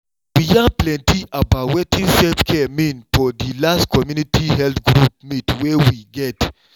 we yarn plenty about wetin self-care mean for di last community health group meet wey we get.